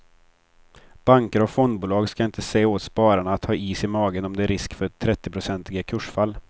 Banker och fondbolag ska inte säga åt spararna att ha is i magen om det är en risk för trettionprocentiga kursfall.